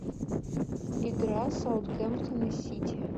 игра саутгемптон и сити